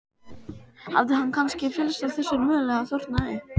Hafði hann kannski fyllst af þessari möl eða þornað upp?